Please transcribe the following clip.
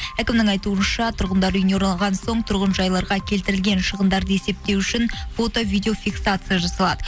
әкімнің айтуынша тұрғындар үйіне оралған соң тұрғын жайларға келтірілген шығындарды есептеу үшін фото видеофексация жасалады